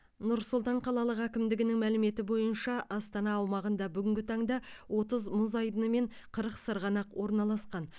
нұр сұлтан қалалық әкімдігінің мәліметі бойынша астана аумағында бүгінгі таңда отыз мұз айдыны мен қырық сырғанақ орналасқан